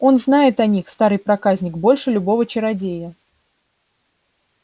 он знает о них старый проказник больше любого чародея